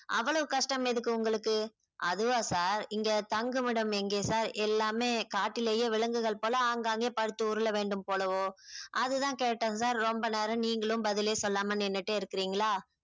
அவ்வளவு கஷ்டம் எதுக்கு உங்களுக்கு அதுவா sir இங்க தங்குமிடம் எங்கே sir எல்லாமே காட்டிலேயே விலங்குகள் போல ஆங்காங்கே படுத்து உருள வேண்டும் போலவோ அதுதான் கேட்டேன் sir ரொம்ப நேரம் நீங்களும் பதிலே சொல்லாம நின்னுட்டே இருக்கிறீங்களா